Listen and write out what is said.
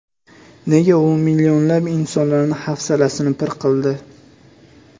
Nega u millionlab insonlarni hafsalasini pir qildi?